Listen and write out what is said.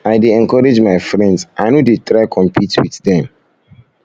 i dey encourage my friends i no dey try compete wit dem